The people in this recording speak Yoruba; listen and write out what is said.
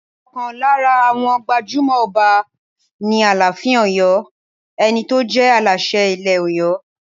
Ọ̀kan lára àwọn gbajúmọ̀ Ọba ni Aláàfin Ọ̀yọ́, ẹni tó jẹ́ Aláṣẹ ilẹ̀ Ọ̀yọ́.